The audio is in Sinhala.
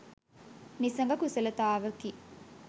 නිසග කුසලතාවකි.